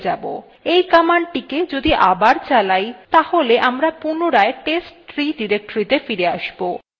এই কমান্ডটিকে যদি আবার চালাই তাহলে আমরা পুনরায় testtree ডিরেক্টরীতে ফিরে আসব